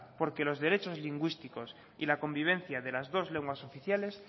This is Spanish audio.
porque los derechos lingüísticos y la convivencia de las dos lenguas oficiales